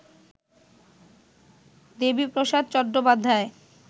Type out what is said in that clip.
Debiprasad Chattopadhyay